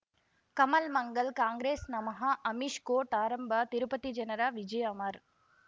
ಕಮಲ್ ಮಂಗಳ್ ಕಾಂಗ್ರೆಸ್ ನಮಃ ಅಮಿಷ್ ಕೋರ್ಟ್ ಆರಂಭ ತಿರುಪತಿ ಜನರ ವಿಜಯ ಅಮರ್